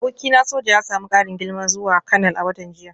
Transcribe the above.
Abokina soja ya samu karin girma zuwa kanal a watan jiya